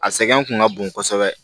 A sɛgɛn kun ka bon kosɛbɛ